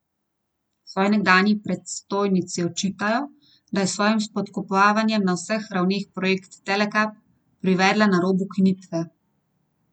Svoji nekdanji predstojnici očitajo, da je s svojim spodkopavanjem na vseh ravneh projekt Telekap privedla na rob ukinitve.